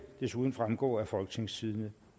desuden fremgå af folketingstidende